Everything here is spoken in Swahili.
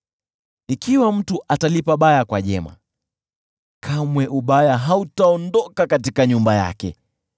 Ikiwa mtu atalipa baya kwa jema, kamwe ubaya hautaondoka katika nyumba yake.